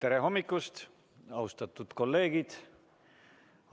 Tere hommikust, austatud kolleegid!